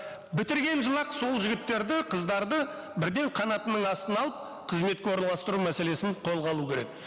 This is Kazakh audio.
бітірген жылы ақ сол жігіттерді қыздарды бірден қанатының астына алып қызметке орналастыру мәселесін қолға алу керек